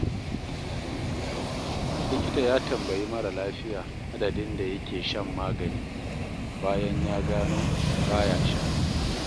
Likita ya tambayi mara lafiya adadin da yake shan magani, bayan ya gano ba ya sha.